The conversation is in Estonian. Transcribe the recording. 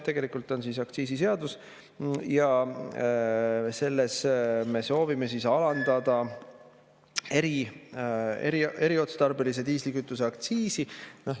Tegelikult on see aktsiisiseadus ja selles me soovime alandada eriotstarbelise diislikütuse aktsiisi.